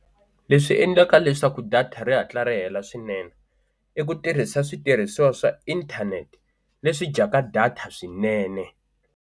Leswi endlaka leswaku data ri hatla ri hela swinene i ku tirhisa switirhisiwa swa internet leswi dyaka data swinene.